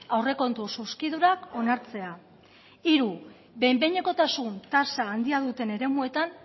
aurrekontu zuzkidurak onartzea hiru behin behinekotasun tasa handia duten eremuetan